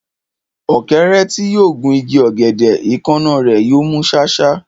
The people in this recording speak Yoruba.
Ọ̀kẹ́rẹ́ tí yóò gun igi ọ̀gẹ̀dẹ̀, èékánná rẹ̀ yóò mú ṣáṣá.